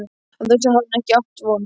Á þessu hafði hann ekki átt von!